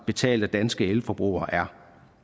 betalt af danske elforbrugere er